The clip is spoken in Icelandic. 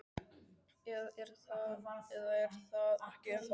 Eða er það ekki ennþá þannig?